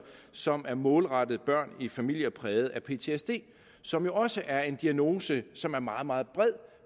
som er målrettet børn i familier præget af ptsd som jo også er en diagnose som er meget meget bred